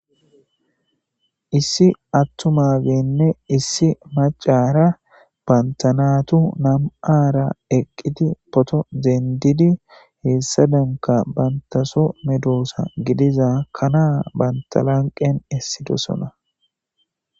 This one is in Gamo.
issi attumabenne issi macara bantanatu nam7ara eqqiti poto deendidi heessa danka bantaso medoosa gidiza kanaa bantalanqen essidosona